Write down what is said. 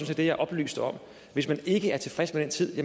set det jeg oplyste om hvis man ikke er tilfreds med den tid